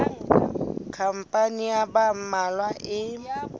khampani ya ba mmalwa e